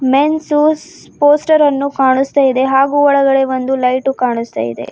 Menses poster ಅನ್ನು ಕಾಣಿಸ್ತಾ ಇದೆ ಹಾಗು ಒಳಗಡೆ ಒಂದು ಲೈಟು ಕಾಣಿಸ್ತಾ ಇದೆ.